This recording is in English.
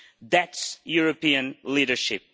That is European leadership.